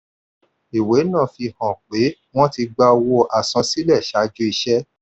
ìwé náà fi hàn pé wọ́n ti gba owó àsansílẹ̀ ṣáájú iṣẹ́.